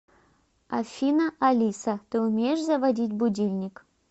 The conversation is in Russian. афина алиса ты умеешь заводить будильник